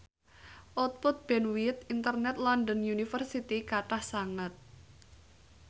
output bandwith internet London University kathah sanget